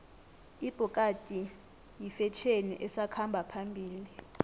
ibhokadi yifetjheni esakhamba phambili